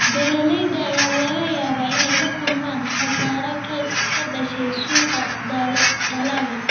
Beeralayda ayaa laga yaabaa inay la kulmaan khasaare ka dhashay suuqa dalagga.